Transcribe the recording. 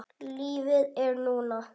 Lífið er núna.